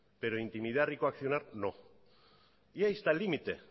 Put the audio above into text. pero intimidar y coaccionar no y ahí está el límite